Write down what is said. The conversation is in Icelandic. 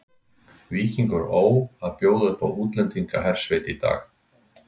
Víkingur Ó að bjóða upp á útlendingahersveit í dag.